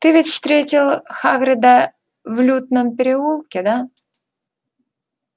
ты ведь встретил хагрида в лютном переулке да